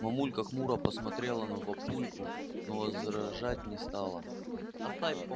мамулька хмуро посмотрела на папульку но возражать не стала